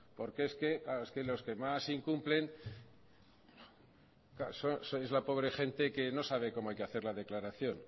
porque es que los que más incumplen sois la pobre gente que no sabe cómo hay que hacer la declaración